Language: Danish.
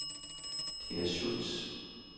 Dina Schultz